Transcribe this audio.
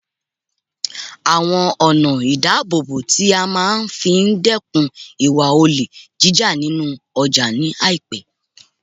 awon ona idabobo ti a maa fi dekun iwa ole jija ninu oja ni aipe